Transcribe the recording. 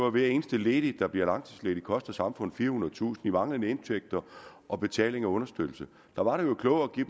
at hver eneste ledig der bliver langtidsledig koster samfundet firehundredetusind manglende indtægter og betaling af understøttelse der var det jo klogere at give